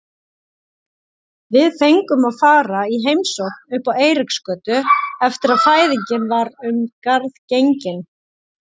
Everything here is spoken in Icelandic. Við fengum að fara í heimsókn uppá Eiríksgötu eftir að fæðingin var um garð gengin.